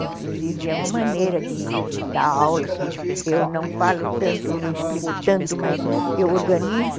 Inclusive, é uma maneira de dar aula que eu não falo tanto, não explico tanto, mas eu organizo